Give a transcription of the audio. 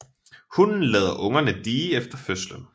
Hunnen lader ungerne die efter fødslen